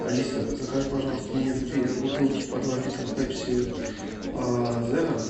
алиса закажи пожалуйста мне две бутылки по два литра пепси зеро